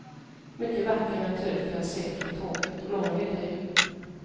Mycket vacker natur får jag se från tåget och många vilda djur.